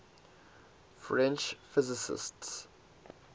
french physicists